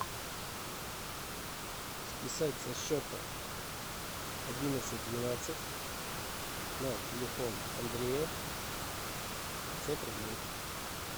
списать со счета одиннадцать двенадцать на телефон андрея пятьсот рублей